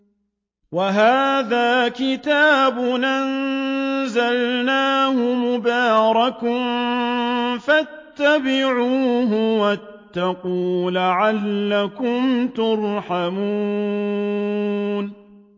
وَهَٰذَا كِتَابٌ أَنزَلْنَاهُ مُبَارَكٌ فَاتَّبِعُوهُ وَاتَّقُوا لَعَلَّكُمْ تُرْحَمُونَ